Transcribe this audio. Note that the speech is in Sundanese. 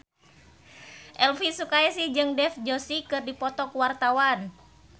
Elvy Sukaesih jeung Dev Joshi keur dipoto ku wartawan